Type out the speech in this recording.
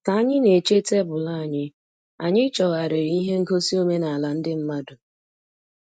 Ka anyị na-eche tebụl anyị, anyị chọgharịrị ihe ngosi omenala ndị mmadụ.